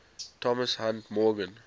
thomas hunt morgan